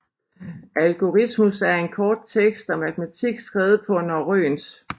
Algorismus er en kort tekst om matematik skrevet på norrønt